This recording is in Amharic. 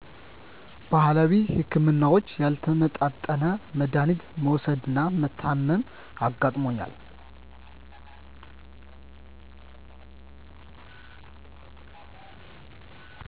ባህላዊ ህክምናዎች ያልተመጣጠነ መዳሀኒት መዉሰድና መታመም አጋጥሞኛል